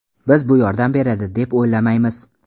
Biz bu yordam beradi, deb o‘ylamaymiz.